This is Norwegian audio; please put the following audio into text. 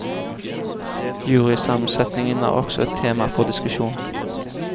Jurysammensetningen er også tema for diskusjon.